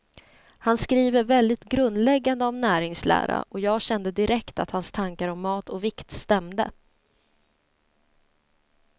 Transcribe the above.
Han skriver väldigt grundläggande om näringslära, och jag kände direkt att hans tankar om mat och vikt stämde.